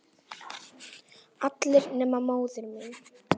Allir nema móðir mín.